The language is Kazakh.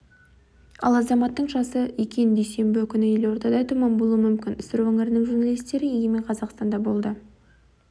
ал азаматтың жасы екен дүйсенбі күні елордада тұман болуы мүмкін сыр өңірінің журналистері егемен қазақстанда болды